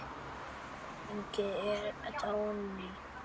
Hún Dagný er dáin.